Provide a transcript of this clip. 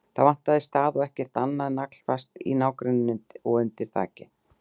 Það vantaði stað og ekkert annað var naglfast í nágrenninu og undir þaki.